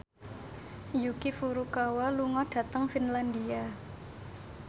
Yuki Furukawa lunga dhateng Finlandia